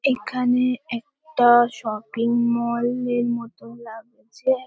এইখানে একটা shopping mall -এর মতো লাগছে।